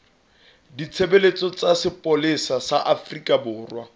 ditshebeletso tsa sepolesa sa afrika